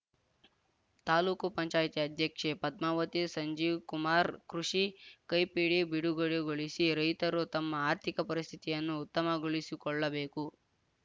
ತಾಲೂಕು ಪಂಚಾಯಿತಿ ಅಧ್ಯಕ್ಷೆ ಪದ್ಮಾವತಿ ಸಂಜೀವ್‌ಕುಮಾರ್‌ ಕೃಷಿ ಕೈಪಿಡಿ ಬಿಡುಗಡೆಗೊಳಿಸಿ ರೈತರು ತಮ್ಮ ಅರ್ಥಿಕ ಪರಿಸ್ಥಿತಿಯನ್ನು ಉತ್ತಮಗೊಳಿಸಿಕೊಳ್ಳಬೇಕು